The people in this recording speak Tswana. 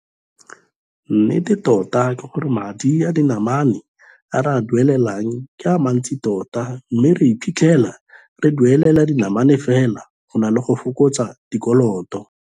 Nnete tota ke gore madi a dinamane a re a duelelang ke a mantsi tota mme re iphitlhela re duelela dinamane fela go na le go fokotsa dikoloto.